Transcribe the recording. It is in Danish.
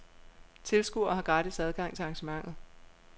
Tilskuere har gratis adgang til arrangementet.